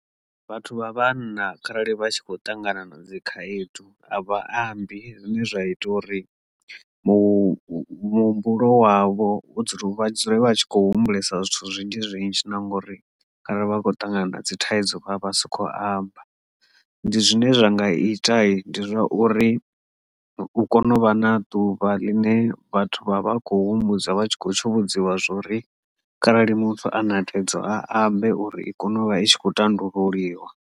Vhathu vha vhanna kharali vha tshi khou ṱangana na dzikhaedu a vha ambi zwine zwa ita uri muhumbulo wavho dzula vha dzule vha tshi kho humbulesa zwithu zwinzhi zwinzhi na ngori kharali vha khou ṱangana na dzi thaidzo vha vha si khou amba ndi zwine zwa nga ita ndi zwa uri u kone u vha na ḓuvha ḽine vhathu vha vha kho humbudza vha tshi kho tsho vhudziwa zwori kharali muthu ane a tevhedzwa a ambe uri i kone u vha i tshi kho ṱanḓululiwa.